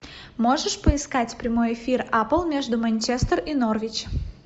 можешь поискать прямой эфир апл между манчестер и норвич